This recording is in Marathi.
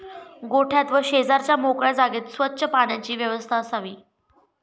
गोठ्यात व शेजारच्या मोकळ्या जागेत स्वच्च पाण्याची व्यवस्था असावी.